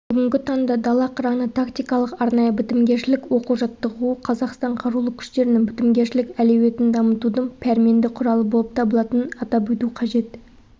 бүгінгі таңда дала қыраны тактикалық-арнайы бітімгершілік оқу-жаттығуы қазақстан қарулы күштерінің бітімгершілік әлеуетін дамытудың пәрменді құралы болып табылатынын атап өту қажет